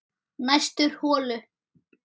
Næstur holu